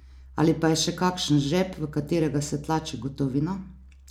Ali pa je še kakšen žep, v katerega se tlači gotovina?